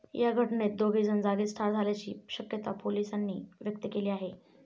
या घटनेत दोघेजण जागीच ठार झाल्याची शक्यता पोलिसांनी व्यक्त केली आहे.